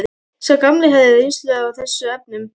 Sá gamli hafði reynsluna í þessum efnum.